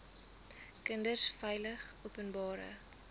kinders veilig openbare